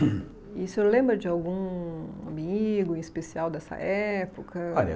E o senhor lembra de algum amigo em especial dessa época?